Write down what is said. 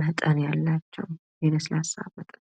መጠን ያላቸው ለስላሳ መጠጦች።